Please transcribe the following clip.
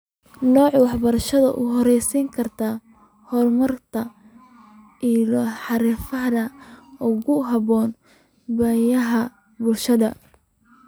Nooca waxbarashada u horseedi karta horumarinta ilo xirfadeed oo ku habboon baahiyaha bulshada.